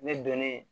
Ne donnen